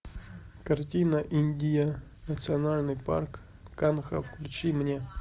картина индия национальный парк канха включи мне